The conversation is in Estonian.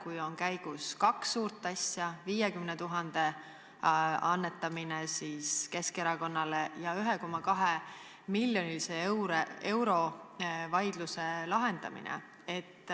On ju menetluses kaks suurt asja: 50 000 euro annetamine Keskerakonnale ja 1,2-miljonilise vaidluse lahendamine?